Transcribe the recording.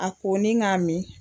A ko ni k'a min